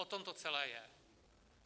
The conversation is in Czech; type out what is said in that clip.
O tom to celé je.